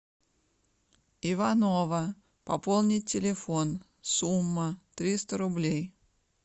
иванова пополнить телефон сумма триста рублей